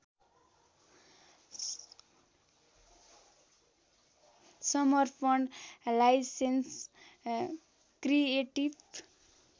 समर्पण licence creative